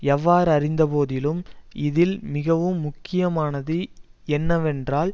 எவ்வாறிருந்த போதிலும் இதில் மிகவும் முக்கியமானது என்னவென்றால்